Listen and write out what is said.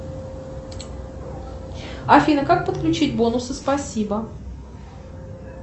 афина как подключить бонусы спасибо